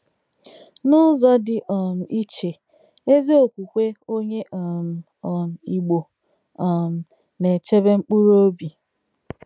N’ụzọ dị um iche, ezi okwukwe onye um um Igbo um ‘ na-echebe mkpụrụ obi.